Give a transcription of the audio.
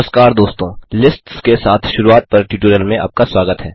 नमस्कार दोस्तों लिस्ट्स के साथ शुरूआत पर ट्यूटोरियल में आपका स्वागत है